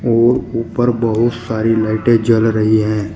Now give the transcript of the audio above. और ऊपर बहुत सारी लाइटें जल रही हैं।